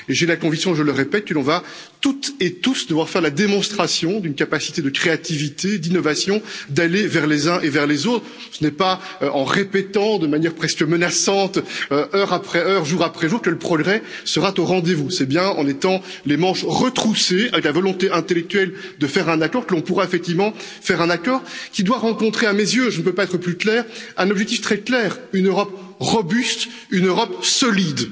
Et j'ai la conviction, je le répète, que nous allons toutes et tous devoir faire la démonstration d'une capacité de créativité, d'innovation, d'aller vers les uns et vers les autres. Ce n'est pas en répétant de manière presque menaçante, heure après heure, jour après jour, que le progrès sera au rendez vous, c'est bien en ayant les manches retroussées, avec la volonté intellectuelle de conclure un accord que nous pourrons effectivement arriver à un accord qui doit rencontrer à mes yeux, je ne peux pas être plus clair, un objectif très précis une Europe robuste, une Europe solide.